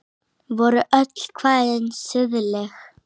Voru öll kvæðin siðleg?